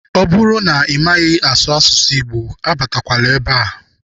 Ọ bụrụ na ị maghị asụ asụsụ Igbo abatakwala ebe a.